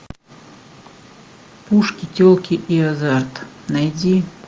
пушки телки и азарт найди